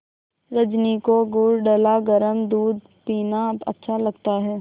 रजनी को गुड़ डला गरम दूध पीना अच्छा लगता है